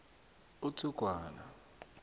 uthugwana